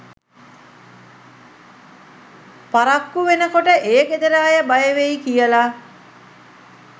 පරක්කු වෙනකොට ඒ ගෙදර අය බයවෙයි කියල.